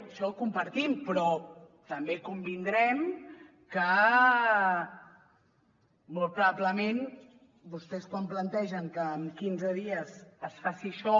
això ho compartim però també convindrem que molt probablement vostès quan plantegen que en quinze dies es faci això